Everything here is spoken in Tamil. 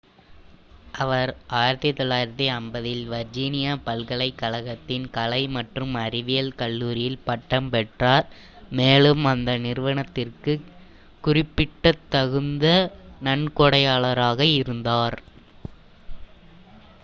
அவர் 1950-இல் வர்ஜீனியா பல்கலைக்கழகத்தின் கலை மற்றும் அறிவியல் கல்லூரியில் பட்டம் பெற்றார் மேலும் அந்த நிறுவனத்திற்குக் குறிப்பிடத்தகுந்த நன்கொடையாளராக இருந்தார்